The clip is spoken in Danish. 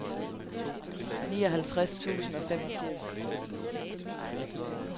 nioghalvtreds tusind og femogfirs